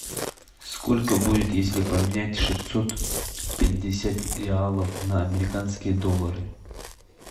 сколько будет если поменять шестьсот пятьдесят реалов на американские доллары